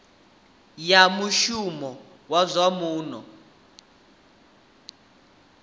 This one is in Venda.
ya muhasho wa zwa muno